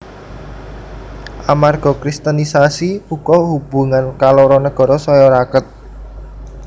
Amarga Kristenisasi uga hubungan kaloro nagara saya raket